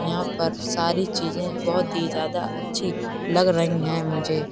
यहां पर सारी चीजें बहुत ही ज्यादा अच्छी लग रही है मुझे ।